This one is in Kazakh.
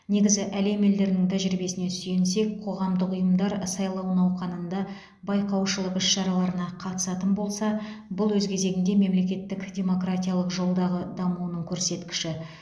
негізі әлем елдерінің тәжірибесіне сүйенсек қоғамдық ұйымдар сайлау науқанында байқаушылық іс шараларына қатысатын болса бұл өз кезегінде мемлекеттің демократиялық жолдағы дамуының көрсеткіші